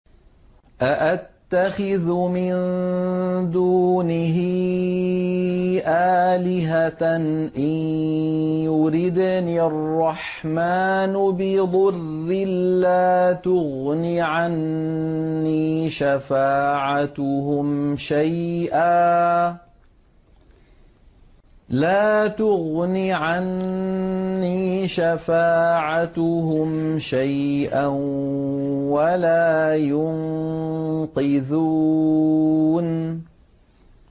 أَأَتَّخِذُ مِن دُونِهِ آلِهَةً إِن يُرِدْنِ الرَّحْمَٰنُ بِضُرٍّ لَّا تُغْنِ عَنِّي شَفَاعَتُهُمْ شَيْئًا وَلَا يُنقِذُونِ